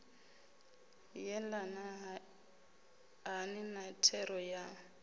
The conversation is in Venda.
yelana hani na thero ya